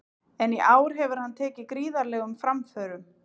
En í ár hefur hann tekið gríðarlegum framförum.